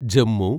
Jammu